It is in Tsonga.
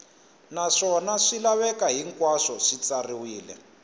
naswona swilaveko hinkwaswo swi katsiwile